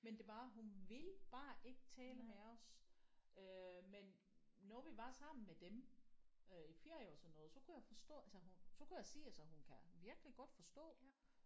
Men det er bare hun ville bare ikke tale med os øh men når vi var sammen med dem øh i ferier og sådan noget så kunne jeg forstå altså hun så kunne jeg se altså hun kan virkelig godt forstå